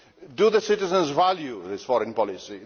Do the citizens value this foreign policy?